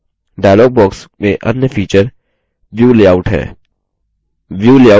dialog box में अन्य feature view layout है